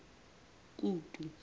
kutu